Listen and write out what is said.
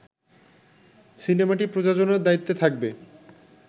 সিনেমাটি প্রযোজনার দায়িত্বে থাকবে